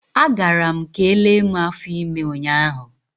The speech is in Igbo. A gara m ka elee mụ afọ ime ụnyaahụ.